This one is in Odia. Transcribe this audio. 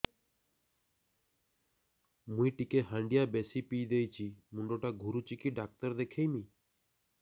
ମୁଇ ଟିକେ ହାଣ୍ଡିଆ ବେଶି ପିଇ ଦେଇଛି ମୁଣ୍ଡ ଟା ଘୁରୁଚି କି ଡାକ୍ତର ଦେଖେଇମି